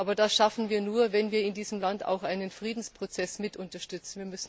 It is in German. Aber das schaffen wir nur, wenn wir in diesem Land auch einen Friedensprozess mit unterstützen.